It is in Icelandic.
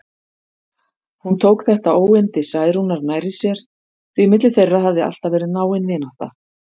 Hún tók þetta óyndi Særúnar nærri sér, því milli þeirra hafði alltaf verið náin vinátta.